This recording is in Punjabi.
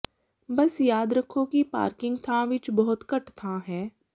ਬਸ ਯਾਦ ਰੱਖੋ ਕਿ ਪਾਰਕਿੰਗ ਥਾਂ ਵਿਚ ਬਹੁਤ ਘੱਟ ਥਾਂ ਹੈ